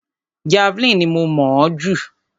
Javeline ni mo mọ̀ ọ́ jù.